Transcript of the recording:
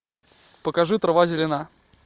покажи трава зелена